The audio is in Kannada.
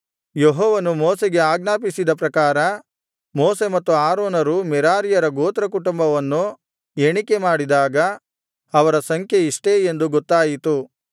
ಯೆಹೋವನು ಮೋಶೆಗೆ ಆಜ್ಞಾಪಿಸಿದ ಪ್ರಕಾರ ಮೋಶೆ ಮತ್ತು ಆರೋನರು ಮೆರಾರೀಯರ ಗೋತ್ರಕುಟುಂಬವನ್ನು ಎಣಿಕೆ ಮಾಡಿದಾಗ ಅವರ ಸಂಖ್ಯೆ ಇಷ್ಟೇ ಎಂದು ಗೊತ್ತಾಯಿತು